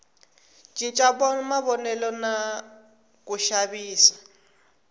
cinca mavonelo na ku xavisa